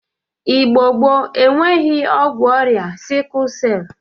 Igbo gboo enweghi ọgwụ ọrịa sịkụl sel.